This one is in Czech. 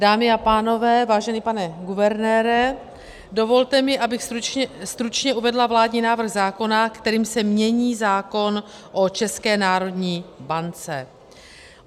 Dámy a pánové, vážený pane guvernére, dovolte mi, abych stručně uvedla vládní návrh zákona, kterým se mění zákon o České národní bance.